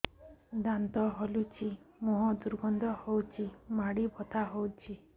ଦାନ୍ତ ହଲୁଛି ମୁହଁ ଦୁର୍ଗନ୍ଧ ହଉଚି ମାଢି ବଥା ହଉଚି